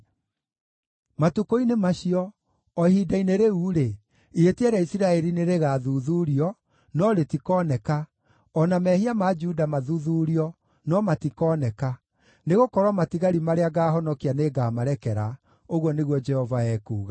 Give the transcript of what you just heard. Matukũ-inĩ macio, o ihinda-inĩ rĩu-rĩ, ihĩtia rĩa Isiraeli nĩrĩgathuthuurio, no rĩtikoneka, o na mehia ma Juda mathuthuurio, no matikooneka, nĩgũkorwo matigari marĩa ngaahonokia nĩngamarekera,” ũguo nĩguo Jehova ekuuga.